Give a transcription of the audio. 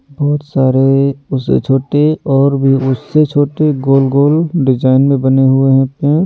बहुत सारे उससे छोटे और भी उससे छोटे गोल-गोल डिजाइन में बने हुए हैं ।